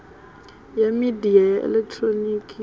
ya midia ya elekihironiki ya